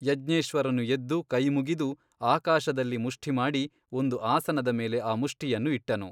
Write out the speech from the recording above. ಯಜ್ಞೇಶ್ವರನು ಎದ್ದು ಕೈಮುಗಿದು ಆಕಾಶದಲ್ಲಿ ಮುಷ್ಠಿಮಾಡಿ ಒಂದು ಆಸನದ ಮೇಲೆ ಆ ಮುಷ್ಠಿಯನ್ನು ಇಟ್ಟನು.